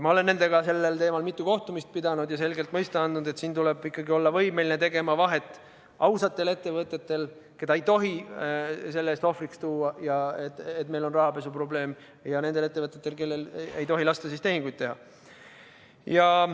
Ma olen nendega sellel teemal mitu kohtumist pidanud ja selgelt mõista andnud, et tuleb ikkagi olla võimeline tegema vahet ausatel ettevõtetel, keda ei tohi selle ohvriks tuua, et meil on rahapesuprobleem, ja nendel ettevõtetel, kellel ei tohi lasta tehinguid teha.